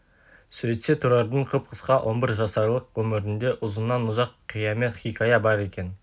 сөйтсе тұрардың қып-қысқа он бір жасарлық өмірінде ұзыннан-ұзақ қиямет хикая бар екен